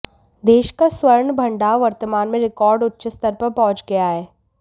देश का स्वर्ण भंडार वर्तमान में रिकॉर्ड उच्च स्तर पर पहुंच गया है